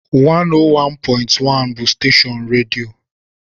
101.1 bụ steshọọnu redio